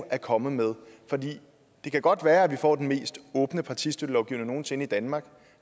er kommet med for det kan godt være at vi får den mest åbne partistøttelovgivning nogen sinde i danmark